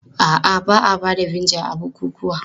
A'a, ba a ba da vinegar a bukukuwa.